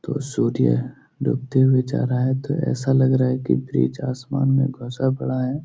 तो सूर्य डूबते हुए जा रहा है तो ऐसा लग रहा है कि बीच आसमान में घुसा पड़ा है।